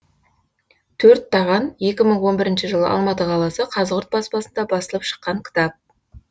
төрт таған екі мың он бірінші жылы алматы қаласы қазығұрт баспасында басылып шыққан кітап